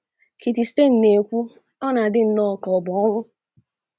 Kitty Stein na - ekwu, “ ọ na - adị nnọọ ka ọ bụ ọnwụ. ”